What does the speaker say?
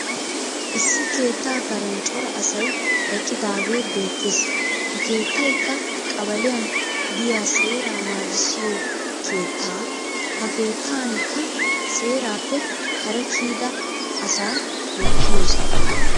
Issi keettaa karen cora asay eqqidaagee beettes. Ha keettayikka qabaliyan diya seeraa naagissiyo keetta ha keettanikka seerappe kare kiyida asaa wottiyoosaa.